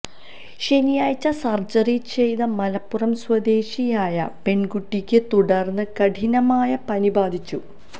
ശനിയാഴ്ച സർജ്ജറി ചെയ്ത മലപ്പുറം സ്വദേശിയായ പെൺകുട്ടിക്ക് തുടർന്ന് കഠിനമായ പനി ബാധിച്ചു